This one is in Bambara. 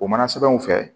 O mana sɛbɛnw fɛ